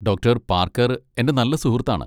Doctor Parker എന്റെ നല്ല സുഹൃത്താണ്.